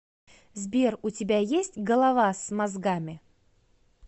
сбер у тебя есть голова с мозгами